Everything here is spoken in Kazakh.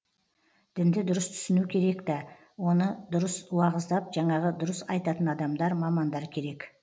дінді дұрыс түсіну керек та оны дұрыс уағыздап жаңағы дұрыс айтатын адамдар мамандар керек